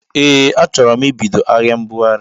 Ee achọro m ibido ahịa mbụghari.